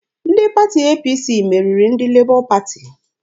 Ndị pati APC meriri ndị Lebọ Pati.